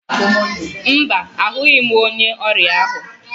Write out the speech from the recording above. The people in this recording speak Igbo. Mba, ahụghị m onye ọrịa ahụ